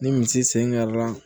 Ni misi sen kɛra